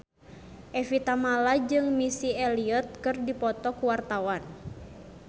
Evie Tamala jeung Missy Elliott keur dipoto ku wartawan